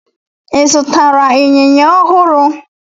Ị zụtara ịnyịnya ọhụrụ?